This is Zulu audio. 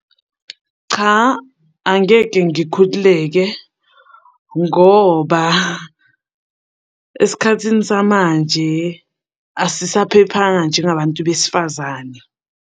Cha, angeke ngikhululeke ngoba esikhathini samanje asisaphephanga njengabantu besifazane.